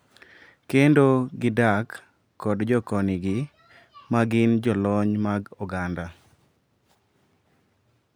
Kendo gidak kod jokonygi ma gin jolony mag oganda.